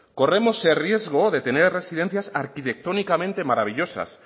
corremos el riesgo de tener residencias arquitectónicamente maravillosas